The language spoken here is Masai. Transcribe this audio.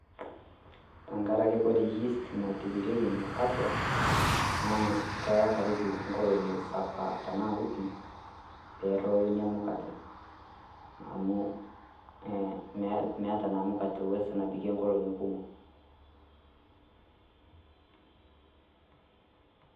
Teng'arake ore yeast naitobirieki mukate naa keyaa karibu nkolong osapaa taana wiiki pee eroyoo enya mukate amu eeh meeta naa mukate uwezo nabikee nkolongi kumook.